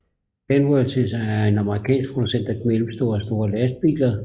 Kenworth er en amerikansk producent af mellemstore og store lastbiler